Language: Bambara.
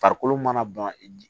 Farikolo mana ban i